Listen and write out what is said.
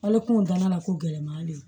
Hali kungo danna ko gɛlɛman de don